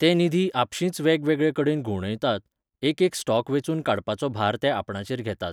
ते निधी आपशींच वेगवेगळे कडेन घुंवडायतात, एकेक स्टॉक वेंचून काडपाचो भार ते आपणाचेर घेतात.